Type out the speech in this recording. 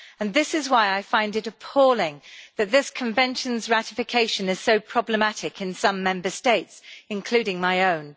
This is why I find it appalling that this Convention's ratification is so problematic in some Member States, including my own.